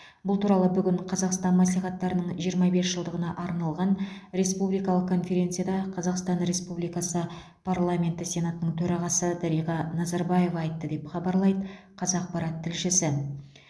бұл туралы бүгін қазақстан мәслихаттарының жиырма бес жылдығына арналған республикалық конференцияда қазақстан республикасы парламенті сенатының төрағасы дариға назарбаева айтты деп хабарлайды қазақпарат тілшісі